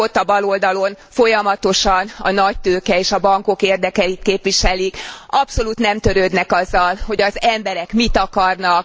Önök ott a baloldalon folyamatosan a nagytőke és a bankok érdekeit képviselik, abszolút nem törődnek azzal, hogy az emberek mit akarnak.